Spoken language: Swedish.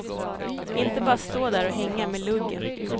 Inte bara stå där och hänga med luggen.